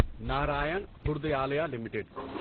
Narayan Hrudayalaya limited